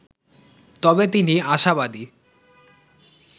তবে তিনি আশাবাদী